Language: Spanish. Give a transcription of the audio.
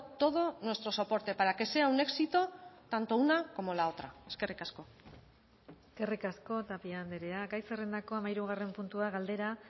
todo nuestro soporte para que sea un éxito tanto una como la otra eskerrik asko eskerrik asko tapia andrea gai zerrendako hamahirugarren puntua galdera